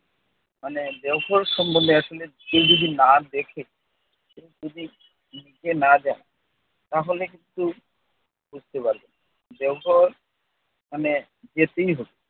মানে দেওঘর সম্বন্ধে আসলে কেউ যদি না দেখে নিজে না যায় তাহলে কিন্তু বুঝতে পারবে না। দেওঘর মানে যেতেই হবে।